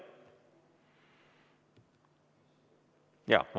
Jaa.